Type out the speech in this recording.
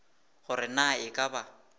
gore na e ka ba